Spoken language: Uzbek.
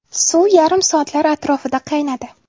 Suv yarim soatlar atrofida qaynadi.